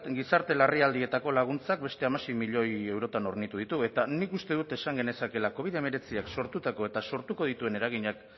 gizarte larrialdietako laguntzak beste hamasei milioi eurotan hornitu ditu eta nik uste dut esan genezakeela covi hemeretziak sortutako eta sortuko dituen eraginak